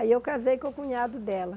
Aí eu casei com o cunhado dela.